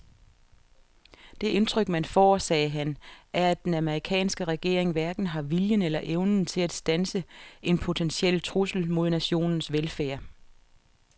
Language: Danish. Det indtryk man får, sagde han, er at den amerikanske regering hverken har viljen eller evnen til at standse en potentiel trussel mod nationens velfærd.